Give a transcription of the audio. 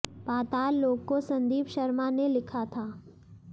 पाताल लोक को संदीप शर्मा ने लिखा था